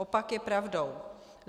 Opak je pravdou.